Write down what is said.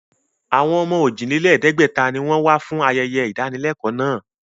Àwọn ọmọ ojì-dín-lẹ̀ẹ́dẹ́gbẹ̀ta ni wọn fún ayẹyẹ ìdánilẹ́kọ̀ọ́ náà